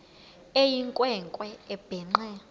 eyinkwe nkwe ebhinqe